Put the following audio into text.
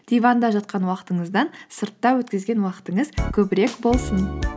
диванда жатқан уақытыңыздан сыртта өткізген уақытыңыз көбірек болсын